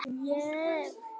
Úlfar